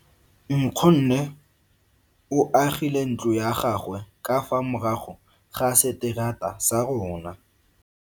Nkgonne o agile ntlo ya gagwe ka fa morago ga seterata sa rona.